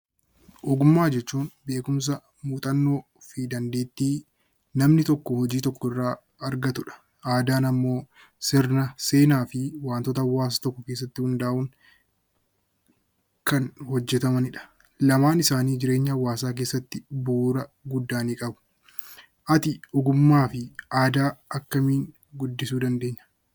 Ogummaa jechuun beekumsa, muuxannoo fi dandeettii namni tokko hojii tokko irraa argatu dha. Aadaan immoo sirna, seenaa fi wantoota hawaasa tokko keessatti hundaa'uun kan hojjetamani dha. Lamaan isaanii jireenya hawaasaa keessatti bu'uura guddaa ni qabu. Ati ogummaa fi aadaa akkamiin guddisuu dandeenya?